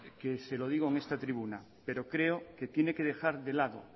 que se lo digo en esta tribuna pero creo que tiene que dejar de lado